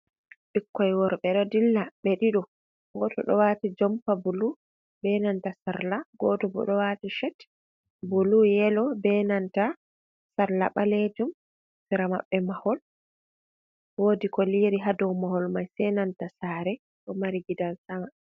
Ɓikkoy worɓe ɗo dilla ɓe ɗiɗo, gooto ɗo waati jompa bulu, be nanta sarla. Gooto bo ɗo waati cet bulu, yelo, be nanta sarla ɓaleejum, sera maɓɓe mahol woodi ko liiri haa dow mahol may, be nanta saare ɗo mari gidan sama.